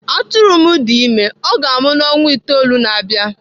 Atụrụ m dị ime, ọ ga-amụ n'ọnwa itoolu na-abịa.